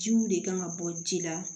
Jiw de kan ka bɔ ji la